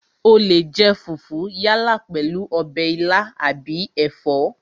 O leè jẹ fùfú yálà pèlú ọbẹ̀ ilá àbí ẹ̀fọ́